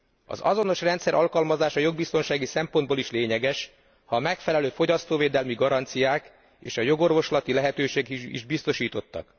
Az azonos rendszer alkalmazása jogbiztonsági szempontból is lényeges, ha a megfelelő fogyasztóvédelmi garanciák és a jogorvoslati lehetőségek is biztosítottak.